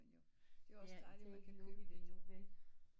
Men jo det er også dejligt man kan købe det